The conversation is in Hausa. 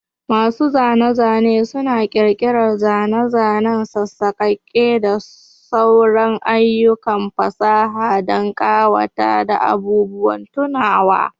Masu zane-zane suna ƙirƙirar zane-zane, sassakaki, da sauran ayyukan fasaha don ƙawata da abubuwan tunawa.